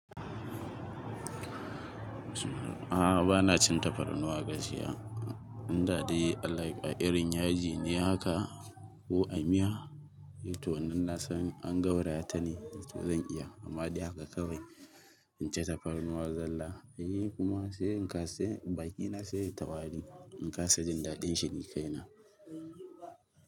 A'a, ba na cin tafarnuwa gaskiya. Inda dai like irin yaji ne haka ko a miya. To nan na san an gauraya ta ne, to zan iya amma dai haka kawai. In ci tafarnuwa zalla, ni kuma sai in kasa, bakina sai yai ta wari in kasa jin daɗin shi ni kai na.